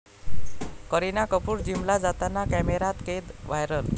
करिना कपूर जिमला जाताना कॅमेऱ्यात कैद, व्हायरल